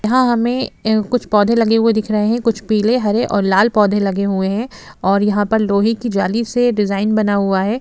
यहाँ हमे कुछ पौधे लगे हुए दिख रहे है कुछ पिले हरे और लाल पौधे लगे हुए है और यहाँ पर लोहे की जाली से डिज़ाइन बना हुआ है।